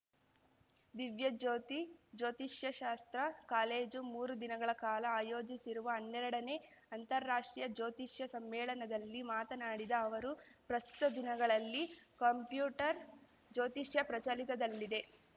ದಿವ್ಯಜ್ಯೋತಿ ಜ್ಯೋತಿಷ್ಯಶಾಸ್ತ್ರ ಕಾಲೇಜು ಮೂರು ದಿನಗಳ ಕಾಲ ಆಯೋಜಿಸಿರುವ ಹನ್ನೆರಡನೇ ಅಂತಾರಾಷ್ಟ್ರೀಯ ಜ್ಯೋತಿಷ್ಯ ಸಮ್ಮೇಳನದಲ್ಲಿ ಮಾತನಾಡಿದ ಅವರು ಪ್ರಸ್ತುತ ದಿನಗಳಲ್ಲಿ ಕಂಪ್ಯೂಟರ್‌ ಜ್ಯೋತಿಷ್ಯ ಪ್ರಚಲಿತದಲ್ಲಿದೆ